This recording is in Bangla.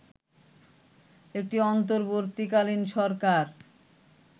একটি অন্তর্বর্তীকালীন সরকার